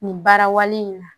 Nin baara wale in na